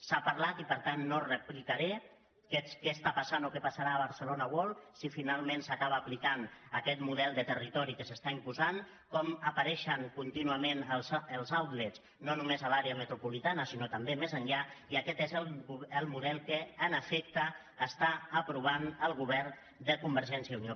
s’ha parlat i per tant no replicaré què està passant o què passarà a barcelona world si finalment s’acaba aplicant aquest model de territori que s’està imposant com apareixen contínuament els outlets no només a l’àrea metropolitana sinó també més enllà i aquest és el model que en efecte està aprovant el govern de convergència i unió